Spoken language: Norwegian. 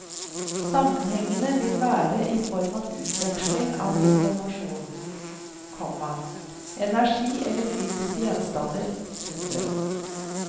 Sammenhengene vil være i form av utveksling av informasjon, komma energi eller fysiske gjenstander. punktum